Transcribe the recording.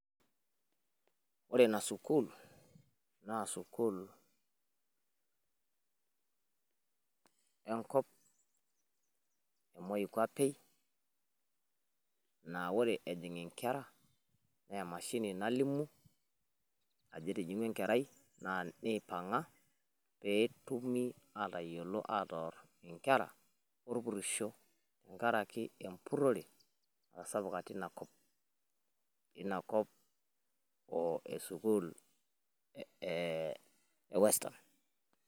Ore ina sukuul naa sukuul, enkop e moi kuape. Naa ore ejing nkera naa emashini nalimu ajo etijing'ua enkerai neipang'a. Pee etumi atoor nkera olpurisho, tenkaraki empurrore natasapuka tina kop tina kop e sukuul e western.